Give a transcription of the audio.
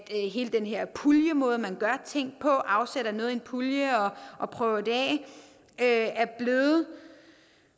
hele den her puljemåde man gør ting på altså afsætter noget i en pulje og prøver det af er blevet